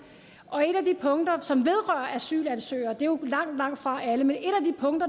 og et af de punkter som vedrører asylansøgere det er jo langtfra